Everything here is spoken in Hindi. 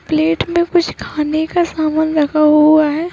प्लेट मे कुछ खाने का समान रखा हुआ है।